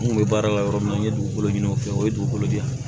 N kun bɛ baara la yɔrɔ min na n ye dugukolo ɲini u fɛ o ye dugukolo de ye